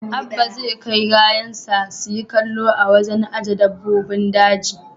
Abba zai kai rayansa su yi kallo a wajen aje dabbobin daji.